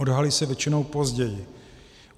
Odhalí se většinou později.